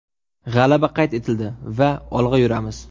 G‘alaba qayd etildi va olg‘a yuramiz.